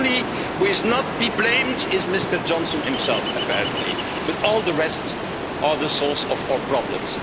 The only person who has not been blamed is Mr Johnson himself, apparently, but all the rest are the source of our problems.